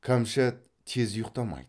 кәмшат тез ұйықтамайды